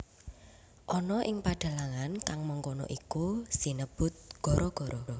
Ana ing padhalangan kang mangkono iku sinebut gara gara